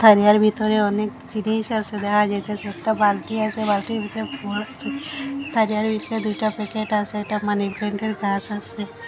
ইহার ভিতরে অনেক জিনিস আসে দেখা যাইতাসে একটা বালটি আছে বালটির ভেতরে ফুল আছে আর যার ভিতর দুইটা প্যাকেট আছে একটা মানি প্ল্যান্টের গাছ আসে।